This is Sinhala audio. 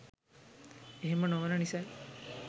ඒහෙම නොවෙන නිසයි